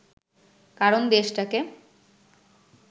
কারণ দেশটাকে